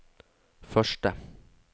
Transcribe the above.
første